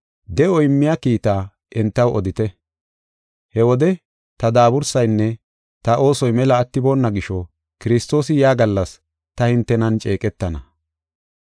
de7o immiya kiitaa entaw odite. He wode ta daabursaynne ta oosoy mela attiboona gisho, Kiristoosi yaa gallas ta hintenan ceeqetana.